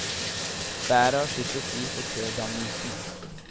Været har sitt å si for kødannelsen.